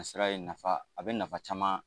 sira ye nafa a bɛ nafa caman